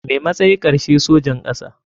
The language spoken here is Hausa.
Me matsay karshe sojan kasa.